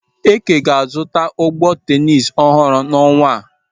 Eke ga-azụta ụgbụ tenis ọhụrụ n'ọnwa a.